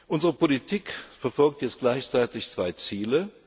haben. Unsere Politik verfolgt jetzt gleichzeitig zwei